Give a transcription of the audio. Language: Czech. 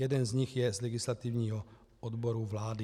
Jeden z nich je z legislativního odboru vlády.